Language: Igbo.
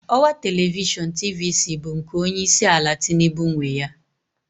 Ọwa telivishọn TVC bụ nke Onye isi ala Tinubu nwe ya.